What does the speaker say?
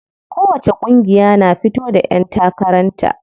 Kowacce ƙungiya na fito da ƴan takaran ta.